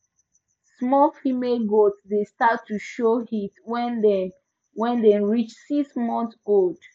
small female goat dey start to show heat when dem when dem reach six months old